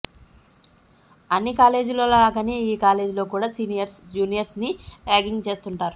అన్ని కాలేజీల్లో లాగానే ఈ కాలీజ్ లో కూడా సీనియర్స్ జూనియర్స్ ని రాగింగ్ చేస్తుంటారు